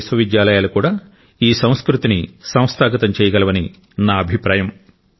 భారతదేశ విశ్వవిద్యాలయాలు కూడా ఈ సంస్కృతిని సంస్థాగతం చేయగలవని నా అభిప్రాయం